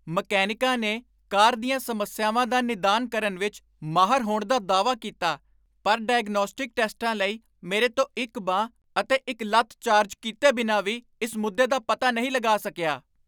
ਮਕੈਨਿਕਾਂ ਨੇ ਕਾਰ ਦੀਆਂ ਸਮੱਸਿਆਵਾਂ ਦਾ ਨਿਦਾਨ ਕਰਨ ਵਿੱਚ ਮਾਹਰ ਹੋਣ ਦਾ ਦਾਅਵਾ ਕੀਤਾ ਪਰ 'ਡਾਇਗਨੌਸਟਿਕ ਟੈਸਟਾਂ' ਲਈ ਮੇਰੇ ਤੋਂ ਇੱਕ ਬਾਂਹ ਅਤੇ ਇੱਕ ਲੱਤ ਚਾਰਜ ਕੀਤੇ ਬਿਨਾਂ ਵੀ ਇਸ ਮੁੱਦੇ ਦਾ ਪਤਾ ਨਹੀਂ ਲਗਾ ਸਕਿਆ?